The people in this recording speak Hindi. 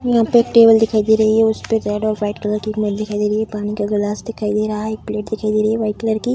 यहाँ पे एक टेबल दिखाई दे रही है उसपे रेड और वाइट कलर की दिखाई दे रही है पानी का गलास दिखाई दे रहा है एक प्लेट दिखाई दे रही है व्हाइट कलर की।